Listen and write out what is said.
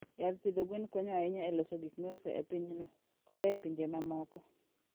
Yath pidho gwen konyo ahinya e loso gik miuso e pinyno koda e pinje mamoko.